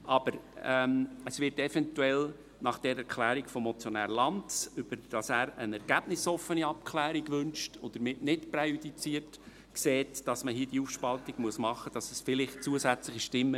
Aber eventuell wird es zusätzliche Stimmen geben, aufgrund der Erklärung des Motionärs Lanz, wonach er eine ergebnisoffene Abklärung wünscht und damit nicht präjudiziert sieht, dass man hier die Aufspaltung machen muss.